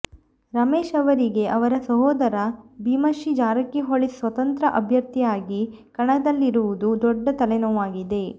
ರಮೇಶ ಅವರಿಗೆ ಅವರ ಸಹೋದರ ಭೀಮಶಿ ಜಾರಕಿಹೊಳಿ ಸ್ವತಂತ್ರ ಅಭ್ಯರ್ಥಿಯಾಗಿ ಕಣದಲ್ಲಿರುವುದು ದೊಡ್ಡ ತಲೆನೋವಾಗಿದೆ